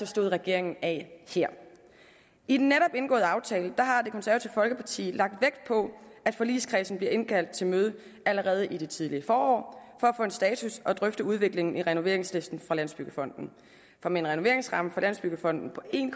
stod regeringen af her i den netop indgåede aftale har det konservative folkeparti lagt vægt på at forligskredsen bliver indkaldt til møde allerede i det tidlige forår for at få en status og drøfte udviklingen i renoveringslisten fra landsbyggefonden for med en renoveringsramme fra landsbyggefonden på en